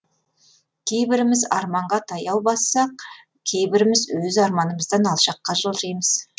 кейбіріміз арманға таяу бассақ кейбіріміз өз арманымыздан алшаққа жылжимыз